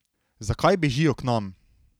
Zakaj bežijo k nam?